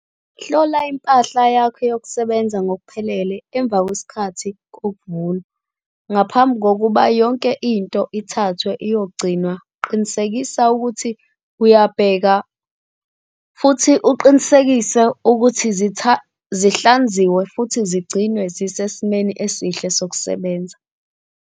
Hlola impahla yakho yokusebenza ngokuphelele emva kwesikhathi kokuvuna. Ngaphambi kokuba yonke into ithathwe iyogcinwa qinisekisa ukuthi uyabheka futhi uqinisekise ukuthi zihlanziwe futhi zigcinwe zisesimweni esihle sokusebenza.